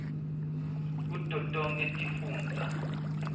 kuto tonkhe tifundza